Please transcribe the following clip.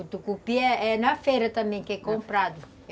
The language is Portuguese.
O tucupi é é na feira também que é comprado.